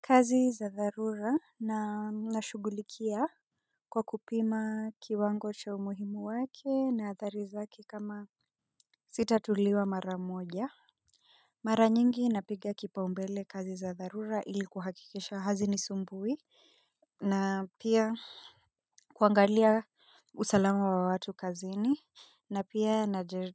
Kazi za dharura na na shugulikia kwa kupima kiwango cha umuhimu wake na athari zake kama sitatuliwa mara moja. Mara nyingi napiga kipaumbele kazi za dharura ili kuhakikisha hazi ni sumbui na pia kuangalia usalama wa watu kazini na pia